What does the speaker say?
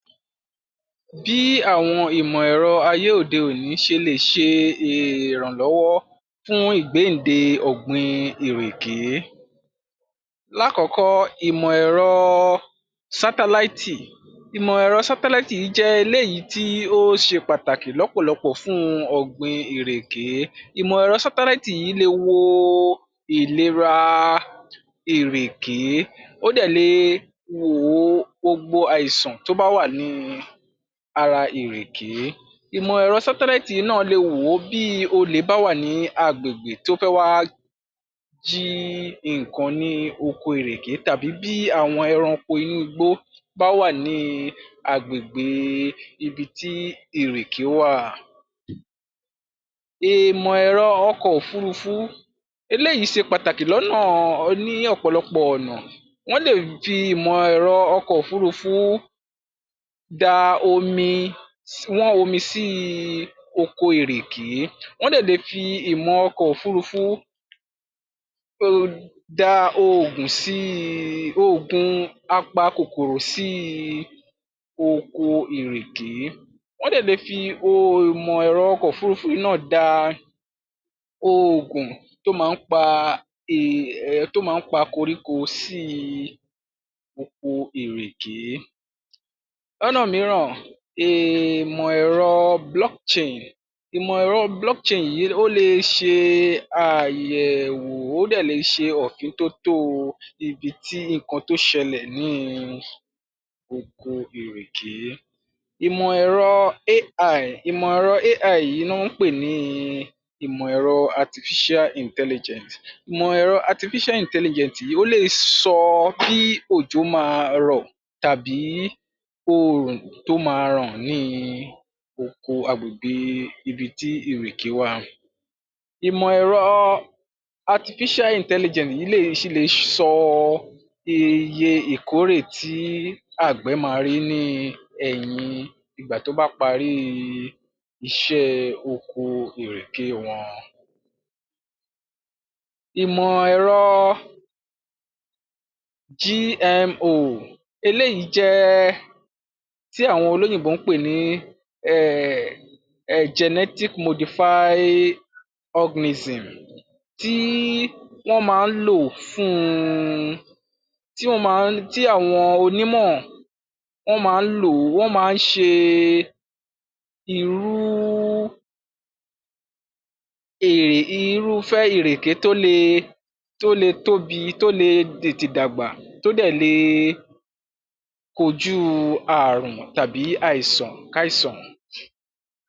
Bí àwọn ìmọ̀ ẹ̀rọ ayé òde-òní ṣe lè ṣe ìrànlọ́wọ́ fún ìgbéǹde ọ̀gbìn ìrèké. Lákọ̀ọ́kọ̀, ìmọ̀ ẹ̀rọ sátáláìtì. Ìmọ̀ ẹ̀rọ sátáláìtì jẹ́ eléyìí tí ó ṣe pàtàkì lọ́pọ̀lọpọ̀ fún ọ̀gbìn ìrèké. Ìmọ̀ èrọ sátáláìtì yìí lè wọ ìlera ìrèké, ó dé lè wọ ó gbogbo àìsàn tó bá wá ní ara ìrèké, ìmọ̀ ẹ̀rọ sátáláìtì yìí náà lè wọ ó bí olè bá wà ní agbègbè tó fẹ́ wá jí nǹkan ní oko ìrèké, tàbí bí àwọn ẹranko inú igbó bá wà ní agbègbè ibi tí ìrèké wá. Ìmọ̀ ẹ̀rọ ọkọ̀ òfúrufú, eléyìí ṣe pàtàkì lọ́nà ní ọ̀pọ̀lọpọ̀ ọ̀nà. Wọ́n lé fi ìmọ̀ ẹ̀rọ ọkọ̀ òfúrufú dá omi wọ́n omi sí oko ìrèké, wọ́n dẹ̀ lè fi ìmọ̀ ọkọ̀ òfúrufú dá oògùn sí i, oògùn apa kòkòrò sí oko ìrèké, wọ́n dẹ̀ lè fi ìmọ̀ ẹ̀rọ ọkọ̀ òfúrufú yìí náà dá oògùn tó máa ń pe um, tó máa ń pa koríko sí oko ìrèké. Lọ́nà mìíràn ìmọ̀ ẹ̀rọ block chain, ìmọ̀ ẹ̀rọ blockchain yìí, ó lè ṣe àyẹ̀wò, ó dẹ̀ lè ṣe òfin tótó ibí tí, nǹkan tó ṣẹlẹ̀ ní oko ìrèké. Ìmọ̀ èrò AI, Ìmọ̀ ẹ̀rọ AI yìí ná ń pè ní ìmọ̀ ẹ̀rọ artificial intelligence, ìmọ̀ ẹ̀rọ artificial intelligence yìí, ó lè sọ bí òjò máa rọ̀ tàbí oòrùn tó máa ràn ni oko àgbègbè ibi tí ìrèké wà. Ìmọ̀ ẹ̀rọ artificial intelligence yìí lè, sì lè sọ iye ìkọ́rè tí àgbè máa rí ní ẹ̀yìn ìgbà tó bá parí iṣẹ́ oko ìrèké wọn. Ìmọ̀ ẹ̀rọ GMO, eléyìí jẹ́ tí àwọn olóyìnbó ń pè ní um Genetic Modified Organism. Tí wọ́n máa ń lò fún, tí wọ́n máa ń, tí àwọn onímọ̀ wọ́n máa ń lọ̀ ó wọ́n máa ṣe irú, [um]irúfẹ́ ìrèké tó le, tó le tóbi, tó le tètè dàgbà, tó dẹ̀ le kojú àrùn tàbí àìsàn kàìsàn